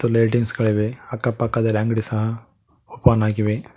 Lightings ಗಳಿವೆ ಅಕ್ಕ ಪಕ್ಕದಲ್ಲಿ ಅಂಗ್ಡಿ ಸಹ ಓಪನ್ ಆಗಿವೆ.